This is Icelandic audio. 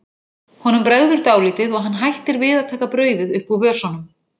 Honum bregður dálítið og hann hættir við að taka brauðið upp úr vösunum.